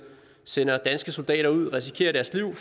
sender danske soldater ud og risikerer deres liv